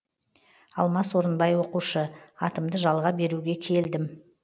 алмас орынбай оқушы атымды жалға беруге келдім